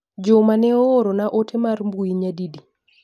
Juma ne ooro na ote mar mbui nyadi di.